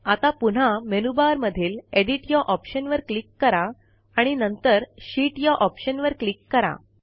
आता पुन्हा मेनूबारमधील एडिट या ऑप्शनवर क्लिक करा आणि नंतर शीत या ऑप्शनवर क्लिक करा